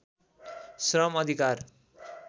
श्रम अधिकार